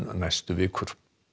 næstu vikur